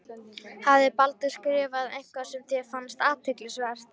Hafði Baldur skrifað eitthvað sem þér fannst. athyglisvert?